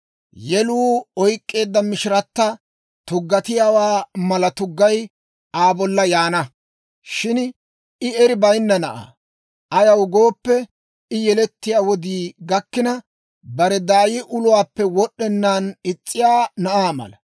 Yeluu oyk'k'eedda mishiratta tuggatiyaawaa mala tuggay Aa bolla yaana. Shin I eri bayinna na'aa; ayaw gooppe, I yelettiyaa wodii gakkina, bare daay uluwaappe wod'd'ennaan is's'iyaa na'aa mala.